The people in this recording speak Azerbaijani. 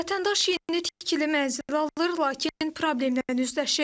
Vətəndaş yeni tikili mənzil alır, lakin problemlə üzləşir.